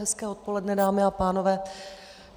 Hezké odpoledne, dámy a pánové.